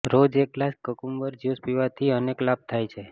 રોજ એક glass cucumber juice પીવાથી અનેક લાભ થાય છે